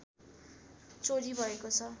चोरी भएको छ